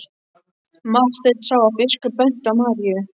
Marteinn sá að biskup benti á Maríu.